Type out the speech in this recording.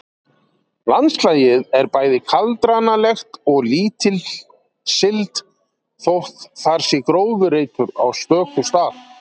Landslagið er bæði kaldranalegt og lítilsiglt þótt þar sé gróðurreitur á stöku stað.